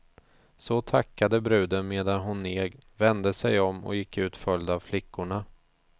Så tackade bruden medan hon neg, vände sig om och gick ut följd av flickorna.